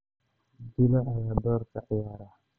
jilaa ayaa door ka ciyaara